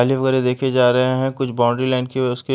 वगैरा देखें जा रहे हैं कुछ बाउंड्री लाइन की हुई उसके--